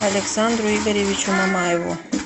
александру игоревичу мамаеву